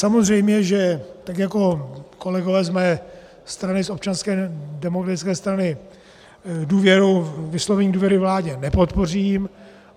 Samozřejmě že tak jako kolegové z mé strany, z Občanské demokratické strany, vyslovení důvěry vládě nepodpořím.